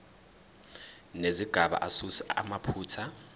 nezigaba asuse amaphutha